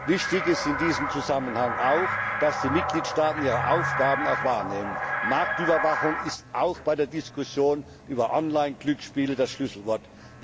Wichtig ist in diesem Zusammenhang auch, dass die Mitgliedstaaten ihre Aufgaben auch wahrnehmen. Marktüberwachung ist auch bei der Diskussion über Online Glücksspiele das Schlüsselwort.